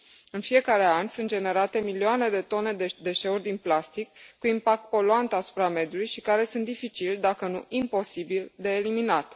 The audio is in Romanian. În fiecare an, sunt generate milioane de tone de deșeuri din plastic cu impact poluant asupra mediului și care sunt dificil, dacă nu imposibil de eliminat.